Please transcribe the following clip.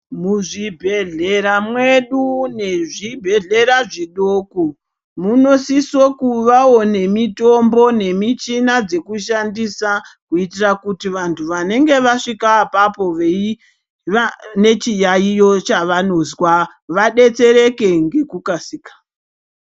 Muzvibhedhlera mwedu nezvibhedhlera zvidoko munosiso kuvawo nemitombo nemichina dzekushandisa kuitira kuti vantu vanenge vasvika apapo veiva nechiyaiyo chavanozwa, vadetsereke ngekukasika.